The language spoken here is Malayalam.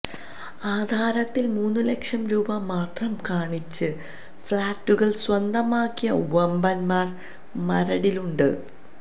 ആധാരത്തിൽ മൂന്ന് ലക്ഷം രൂപ മാത്രം കാണിച്ച് ഫ്ളറ്റുകൾ സ്വന്തമാക്കിയ വമ്പന്മാർ മരടിലുണ്ട്